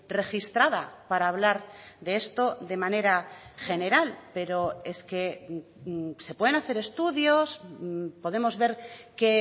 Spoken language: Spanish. registrada para hablar de esto de manera general pero es que se pueden hacer estudios podemos ver qué